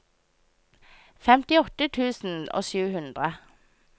femtiåtte tusen og sju hundre